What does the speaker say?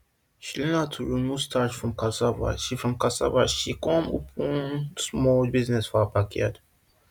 she learn how to remove starch from cassava she from cassava she con open small business for her backyard